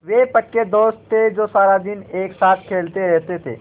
वे पक्के दोस्त थे जो सारा दिन एक साथ खेलते रहते थे